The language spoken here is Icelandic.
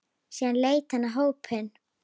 Síðan leit hann á hópinn.